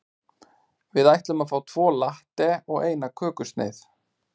Við ætlum að fá tvo latte og eina kökusneið.